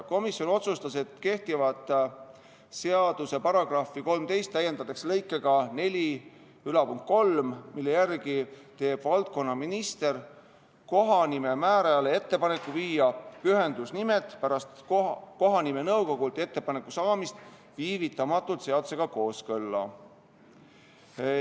Komisjon otsustas, et kehtiva seaduse § 13 täiendatakse lõikega 43, mille järgi teeb valdkonna minister kohanimemäärajale ettepaneku viia pühendusnimed pärast kohanimenõukogult ettepaneku saamist viivitamata seadusega kooskõlla.